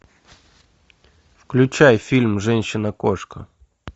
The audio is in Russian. включай фильм женщина кошка